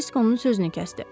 Kirisk onun sözünü kəsdi.